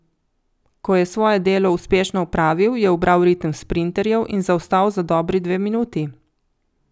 Ko je svoje delo uspešno opravil, je ubral ritem sprinterjev in zaostal za dobri dve minuti.